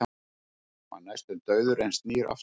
Var næstum dauður en snýr aftur